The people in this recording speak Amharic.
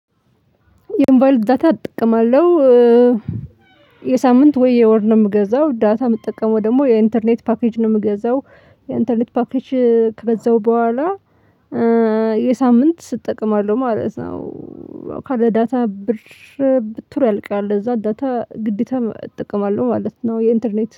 የእንባል ዳታ ጥቅም አለው። የሳምንት ወይ የወር ነው? የምገዛው ዳታ የምጠቀመው ደግሞ የኢንተርኔት ፓኬጅ ነው የምገዛው። የኢንተርኔት ፓኬጅ ከገዛሁ በኋላ። የሳምንት እጠቀማለሁ ማለት ነው። ካለ ዳታ ብር ብድሩ ያልቃል እዛ ዳታ ግዴታ እጠቀማለው ማለት ነው። የኢንተርኔት